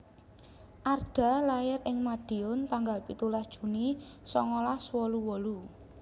Arda lair ing Madiun tanggal pitulas Juni songolas wolu wolu